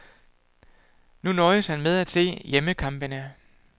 Nu nøjes han med at se hjemmekampene.